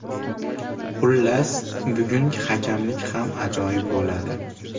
Xullas, bugun hakamlik ham ajoyib bo‘ladi.